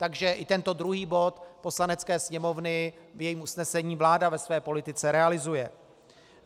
Takže i tento druhý bod Poslanecké sněmovny v jejím usnesení vláda ve své politice realizuje.